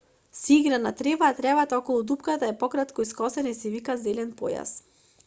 се игра на трева а тревата околу дупката е пократко искосена и се вика зелен појас